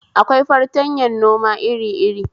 Akwai fartanyan noma iri iri